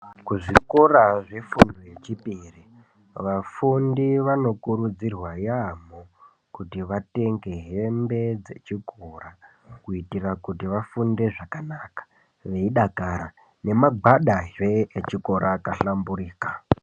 Kuzvikora zvefundo yechipiri vafundi vanokurudzirwa yaambo kuti vatenge hembe dzechikora kuitira kuti vafunde zvakanaka veidakara nemagwada zve echikora akahlamburika.